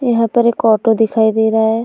यहाँ पर एक ऑटो दिखाई दे रहा है।